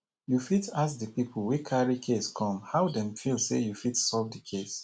you fit ask di pipo wey carry case come how dem feel sey you fit solve do case